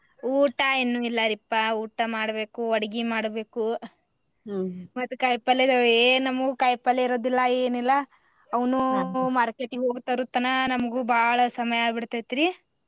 ಊಟಾ ಇನ್ನು ಇಲ್ಲಾರಿಪಾ ಊಟಾ ಮಾಡ್ಬೇಕು ಅಡ್ಗಿ ಮಾಡ್ಬೇಕು ಮತ್ ಕಾಯಿಪಲ್ಯದೊಳ್ ಏನ್ ನಮ್ಗು ಕಾಯಿಪಲ್ಯ ಇರೋದಿಲ್ಲಾ ಏನಿಲ್ಲಾ ಅವ್ನು market ಗಿ ಹೋಗಿ ತರೋ ತನಾ ನಮ್ಗು ಬಾಳ ಸಮಯ ಆಬಿಡ್ತೇತ್ರಿ.